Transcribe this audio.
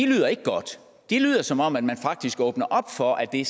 lyder ikke godt de lyder som om man faktisk åbner op for at det